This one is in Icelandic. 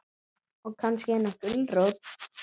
Og kannski eina gulrót.